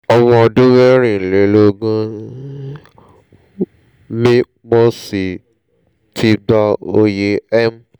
ọmọ ọdún mẹ́rìnlélógún ni mí mo sì ti gba oyè m